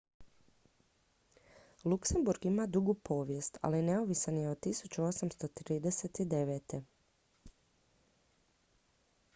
luksemburg ima dugu povijest ali neovisan je od 1839